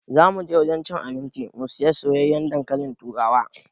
Za mu je gidan cin abinci mu sayi soyayyen dankalin turawa.